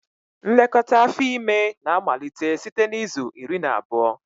Nlekọta afọ ime na-amalite site na izu iri na abụọ